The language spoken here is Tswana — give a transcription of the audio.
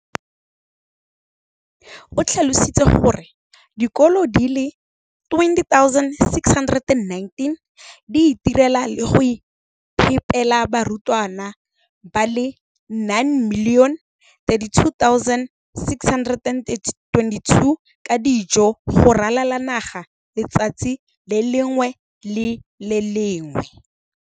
o tlhalositse gore dikolo di le 20 619 di itirela le go iphepela barutwana ba le 9 032 622 ka dijo go ralala naga letsatsi le lengwe le le lengwe.